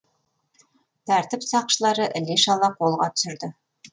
тәртіп сақшылары іле шала қолға түсірді